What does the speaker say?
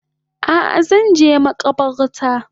A Zanje makabarta